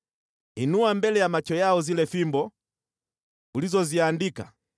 Inua mbele ya macho yao zile fimbo ulizoziandika